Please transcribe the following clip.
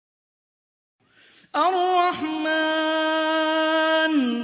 الرَّحْمَٰنُ